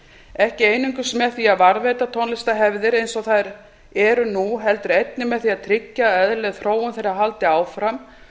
ekki einungis með því að varðveita tónlistarhefðir eins og þær eru nú heldur einnig með því að tryggja að eðlileg þróun þeirra haldi áfram